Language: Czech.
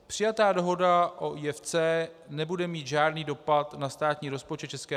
Přijatá dohoda o IFC nebude mít žádný dopad na státní rozpočet ČR.